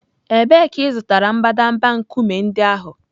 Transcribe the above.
Ebee ka ị zụtara mbadamba nkume ndị ahụ?